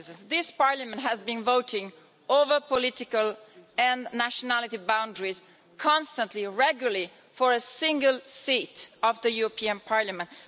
This Parliament has been voting across political and national boundaries, constantly regularly for a single seat of the European Parliament.